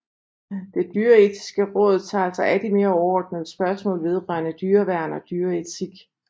Det Dyreetiske Råd tager sig af de mere overordnede spørgsmål vedrørende dyreværn og dyreetik